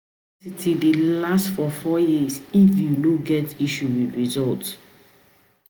University dey last for four years if you no get issue with resullt